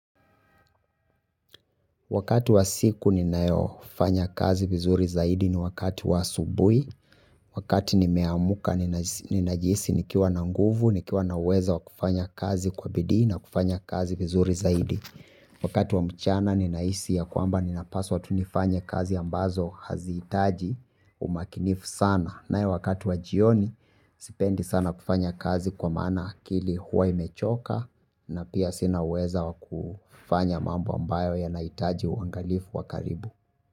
Wakati wa siku ninayofanya kazi vizuri zaidi ni wakati wa asubui, wakati nimeamka ninasi ninajihisi nikiwa na nguvu, nikiwa na uwezo wa kufanya kazi kwa bidii na kufanya kazi vizuri zaidi. Wakati wa mchana ninahisi ya kwamba ninapaswa tu nifanye kazi ambazo hazihitaji umakinifu sana. Nayo wakati wa jioni sipendi sana kufanya kazi kwa maana akili huwa imechoka na pia sina uweza wa kufanya mambo ambayo yanaitaji uangalifu wa karibu.